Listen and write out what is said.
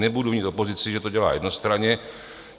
Nebudu vinit opozici, že to dělá jednostranně.